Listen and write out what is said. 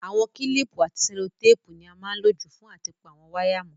Àwon kílìpù àti sẹ́lótàpù ni a má n lo jù fún áti pa àwon wire mó